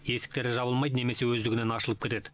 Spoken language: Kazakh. есіктері жабылмайды немесе өздігінен ашылып кетеді